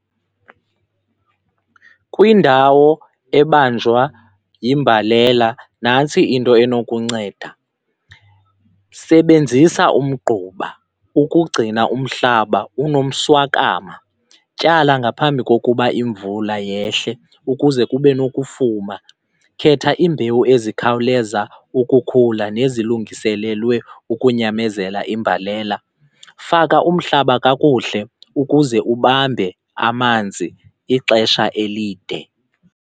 Kwindawo ebanjwa yimbalela nantsi into enokunceda, sebenzisa umgquba ukugcina umhlaba unomswakama, tyala ngaphambi kokuba imvula yehle ukuze kube nokufuma, khetha iimbewu ezikhawuleza ukukhula nezilungiselelwe ukunyamezela imbalela, faka umhlaba kakuhle ukuze ubambe amanzi ixesha elide.